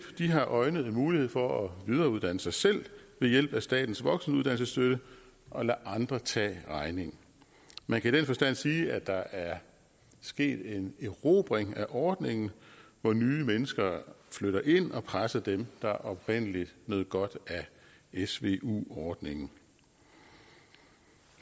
har øjnet en mulighed for at videreuddanne sig selv ved hjælp af statens voksenuddannelsesstøtte og ladet andre tage regningen man kan i den forstand sige at der er sket en erobring af ordningen hvor nye mennesker flytter ind og presser dem der oprindelig nød godt af svu ordningen